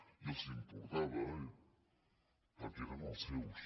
i els importava perquè eren els seus